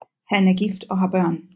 Han er gift og har børn